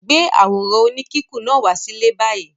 Gbé àwòrán oníkíkùn náà wá sílé báyìí!